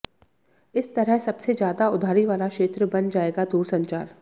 इस तरह सबसे ज्यादा उधारी वाला क्षेत्र बन जाएगा दूरसंचार